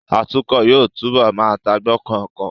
Atukọ̀ yóò túbọ̀ má tagbokun ọkọ